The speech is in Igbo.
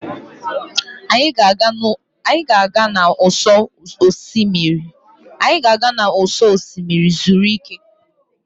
Anyị a ga-aga n'ụsọ osimiri zuru ike?